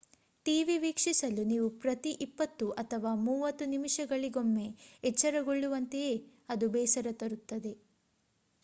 TV ವೀಕ್ಷಿಸಲು ನೀವು ಪ್ರತಿ ಇಪ್ಪತ್ತು ಅಥವಾ ಮೂವತ್ತು ನಿಮಿಷಗಳಿಗೊಮ್ಮೆ ಎಚ್ಚರಗೊಳ್ಳುವಂತೆಯೇ ಅದು ಬೇಸರ ತರುತ್ತದೆ